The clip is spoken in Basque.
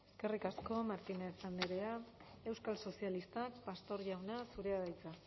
eskerrik asko martínez andrea euskal sozialistak pastor jauna zurea da hitza